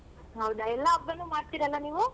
ಹೌದಾ ಎಲ್ಲಾ ಹಬ್ಬನು ಮಾಡ್ತಿರಲ್ಲ ನೀವು?